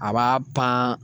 A b'a pan